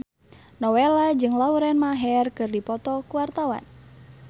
Nowela jeung Lauren Maher keur dipoto ku wartawan